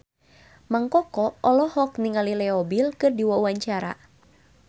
Mang Koko olohok ningali Leo Bill keur diwawancara